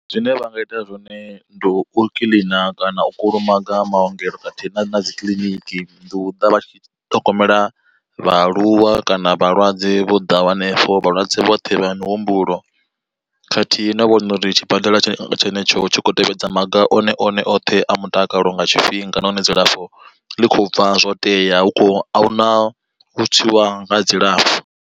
Zwine vha nga ita zwone ndi u kiḽina kana u kulumaga maongelo khathihi na na dzi kiḽiniki, ndi u ḓa vha tshi ṱhogomela vhaaluwa kana vhalwadze vho ḓaho hanefho. Vhalwadze vhoṱhe vha mihumbulo khathihi no vhona uri tshibadela tshenetsho tshi khou tevhedza maga one one oṱhe a mutakalo nga tshifhinga nahone dzilafho ḽi kho bva zwo tea hu kho ahuna u tswiwa ha dzilafho.